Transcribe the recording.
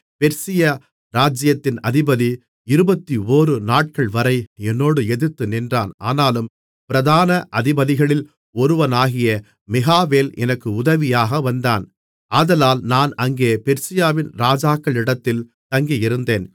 Persia ராஜ்ஜியத்தின் அதிபதி இருபத்தொரு நாட்கள்வரை என்னோடு எதிர்த்து நின்றான் ஆனாலும் பிரதான அதிபதிகளில் ஒருவனாகிய மிகாவேல் எனக்கு உதவியாக வந்தான் ஆதலால் நான் அங்கே பெர்சியாவின் ராஜாக்களிடத்தில் தங்கியிருந்தேன்